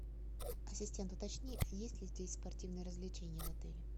ассистент уточни есть ли здесь спортивные развлечения в отеле